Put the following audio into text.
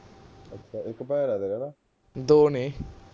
ਦੋ ਨੇ